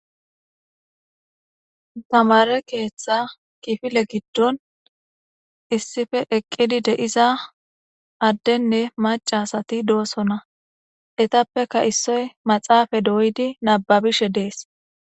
Tamera ketha kifile gidon issipe eqidi de'za adene mac'a asati dosona etapeka isoy maxafe doyidi nababishe dees.